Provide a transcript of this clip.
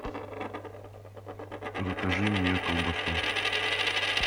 закажи мне колбасу